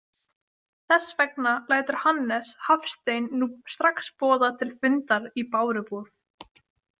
Þess vegna lætur Hannes Hafstein nú strax boða til fundar í Bárubúð.